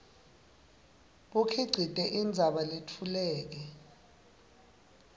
bukhicite indzaba letfuleke